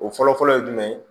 O fɔlɔfɔlɔ ye jumɛn ye